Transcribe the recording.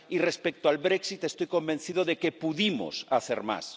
Y respecto al Brexit estoy convencido de que pudimos hacer más.